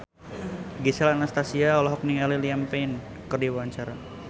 Gisel Anastasia olohok ningali Liam Payne keur diwawancara